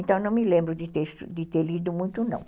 Então, não me lembro de ter de ter lido muito, não.